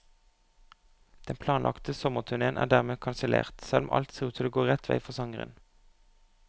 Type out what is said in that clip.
Den planlagte sommerturnéen er dermed kansellert, selv om alt ser ut til å gå rett vei for sangeren.